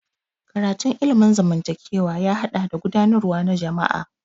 Karatun ilimin zamantakewa ya haɗa da gudanarwa na jama'a.